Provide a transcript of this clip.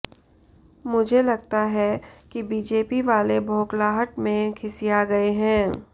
मुझे लगता है की बीजेपी वाले बोखलाहट में खिसिया गए है